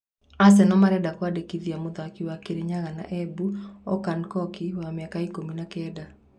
(Rĩũa) Aseno marenda kũmwandĩkithia mũthaki wa Kĩrinyaga na Embu Okun Koki wa mĩaka ikũmi na-kenda.